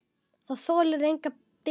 Það þolir enga bið!